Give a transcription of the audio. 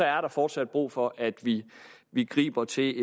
er der fortsat brug for at vi vi griber til